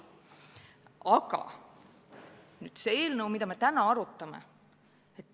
Aga see seadus, mida me täna arutame!